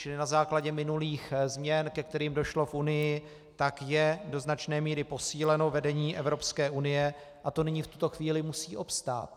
Čili na základě minulých změn, ke kterým došlo v Unii, tak je do značné míry posíleno vedení Evropské unie a to nyní v tuto chvíli musí obstát.